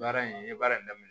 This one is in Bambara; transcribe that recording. Baara in n ye baara in daminɛ